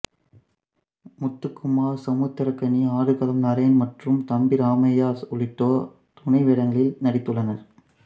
முத்துக்குமார் சமுத்திரக்கனி ஆடுகளம் நரேன் மற்றும் தம்பி ராமையா உள்ளிட்டோர் துணை வேடங்களில் நடித்துள்ளனர்